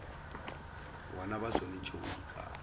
bona ba swanetše go ikana